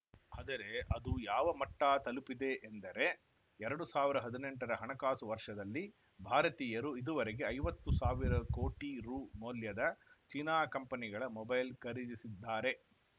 ಆದರೆ ಅದು ಯಾವ ಮಟ್ಟತಲುಪಿದೆ ಎಂದರೆ ಎರಡು ಸಾವಿರ ಹದಿನೆಂಟರ ಹಣಕಾಸು ವರ್ಷದಲ್ಲಿ ಭಾರತೀಯರು ಇದುವರೆಗೆ ಐವತ್ತು ಸಾವಿರ ಕೋಟಿ ರುಮೌಲ್ಯದ ಚೀನಾ ಕಂಪನಿಗಳ ಮೊಬೈಲ್‌ ಖರೀದಿಸಿದ್ದಾರೆ